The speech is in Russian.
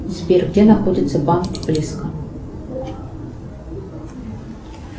сбер где находится банк близко